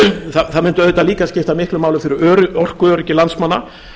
máli það mundi auðvitað líka skipta miklu máli fyrir orkuöryggi landsmanna